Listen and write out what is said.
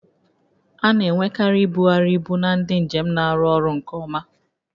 A na-enwekarị ibugharị ibu na ndị njem na-arụ ọrụ nke ọma